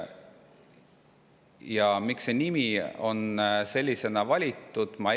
Ja miks see nimi on sellisena valitud?